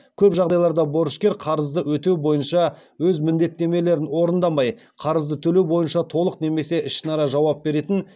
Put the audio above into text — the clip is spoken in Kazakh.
көп жағдайларда борышкер қарызды өтеу бойынша өз міндеттемелерін орындамай қарызды төлеу бойынша толық немесе ішінара жауап беретін